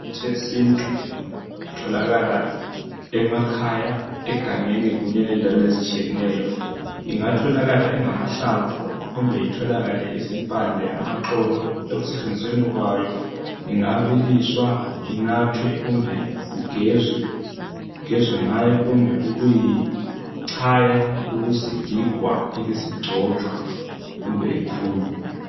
Imithi yesintu itholakala emakhaya egangeni kunye lendaweni ezitshiyeneyo ingatholakala ingamahlamvu kumbe itholakale izimpande, amaxolo ekusetshenzisweni kwayo ingabiliswa inathwe kumbe kugezwe, kugezwe ngayo kumbe kuyi ichaywa ibisigigwa ibisicojwa kumbe ikhunywe.